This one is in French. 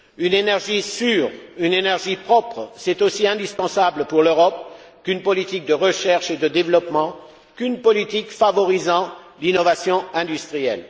Une énergie sûre, une énergie propre, c'est aussi indispensable pour l'Europe qu'une politique de recherche et de développement, qu'une politique favorisant l'innovation industrielle.